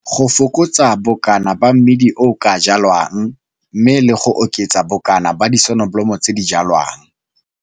Go fokotsa bokana ba mmidi o o ka jwalwang mme le go oketsa bokana ba disonobolomo tse di jwalwang.